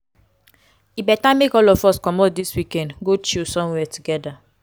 e beta make all of us comot dis weekend go chill somewhere togeda.